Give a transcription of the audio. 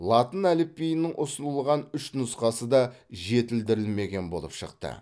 латын әліпбиінің ұсынылған үш нұсқасы да жетілдірілмеген болып шықты